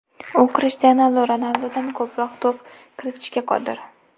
U Krishtianu Ronaldudan ko‘proq to‘p kiritishga qodir.